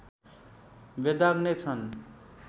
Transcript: बेदाग नै छन्